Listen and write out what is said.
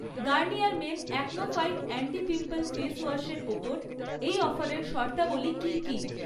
Garnier men Acno fight anti pimple ফেসওয়াশের ওপর এই অফারের শর্তাবলী কী কী?